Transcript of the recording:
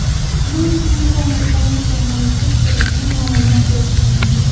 Bu esa imkoniyatlarni chamalashda kerakli ma’lumot bo‘lishi mumkin.